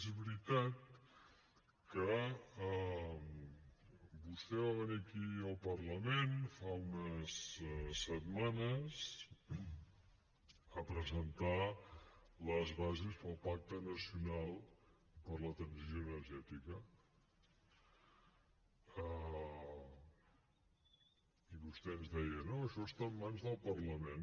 és veritat que vostè va venir aquí al parlament fa unes setmanes a presentar les bases per al pacte nacional per a la transició energètica i vostè ens deia no això està en mans del parlament